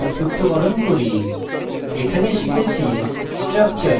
সংক্ষিপ্তকরণ করি এখানে শিখেছি